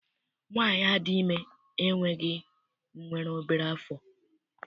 Nwaanyi a dị ime enweghị nwere obere afọ.